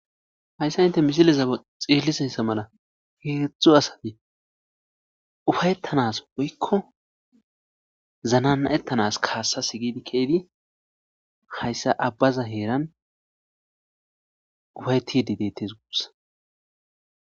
Hayissa inte misilezae xiillisessa mala heegidzdzu asati ufayettanas woykko zananna ettanas kaassas gidi keeydi hayssa abbaza heeran ufayetide deettes guussa